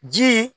Ji